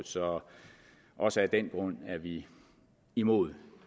så også af den grund er vi imod